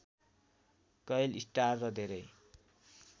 कैल star र धेरै